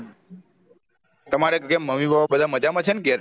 તમારે કેમ mummy papa બધા મજામાં છે ને ઘેર